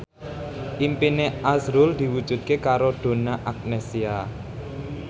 impine azrul diwujudke karo Donna Agnesia